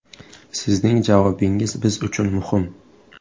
Sizning javobingiz biz uchun muhim.